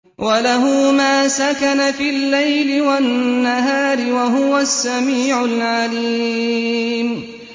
۞ وَلَهُ مَا سَكَنَ فِي اللَّيْلِ وَالنَّهَارِ ۚ وَهُوَ السَّمِيعُ الْعَلِيمُ